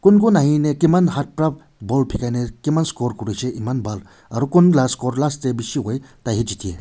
kun kun ahi ne kiman hath para ball bikai ne kiman score kuri se eman bhal aru kun last goal last teh bishi hoi tai e jite.